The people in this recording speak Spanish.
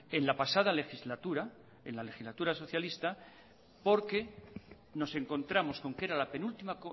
en la pasada legislatura en la legislatura socialista porque nos encontramos con que era la penúltima